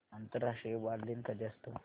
आंतरराष्ट्रीय बालदिन कधी असतो